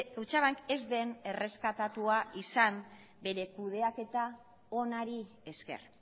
kutxabank ez den erreskatatua izan bere kudeaketa onari esker